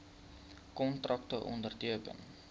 kontrakte onderteken